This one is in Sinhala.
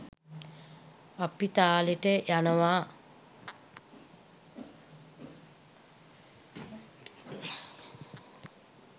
අපි තාලෙට යනවා